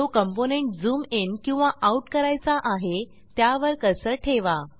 जो component zoom in किंवा out करायचा आहे त्यावर कर्सर ठेवा